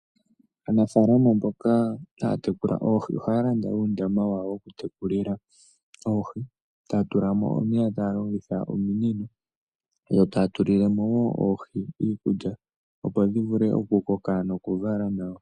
Aanafaalama mboka haatekula oohi ohaa landa uundama wawo woku tekulila oohi. Taatulamo omeya taalongitha ominino yo taa tulamo woo oohi iikulya opo dhivule okukoka noku vala nawa.